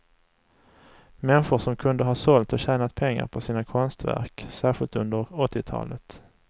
Människor som kunde ha sålt och tjänat pengar på sina konstverk, särskilt under åttiotalet.